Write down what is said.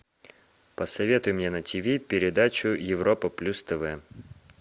посоветуй мне на тиви передачу европа плюс тв